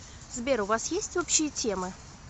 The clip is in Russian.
сбер у вас есть общие темы